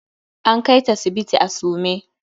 An kaita sibiti a sume.